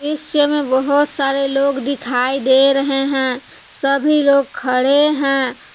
दृश्य में बहौत सारे लोग दिखाई दे रहे हैं सभी लोग खड़े है।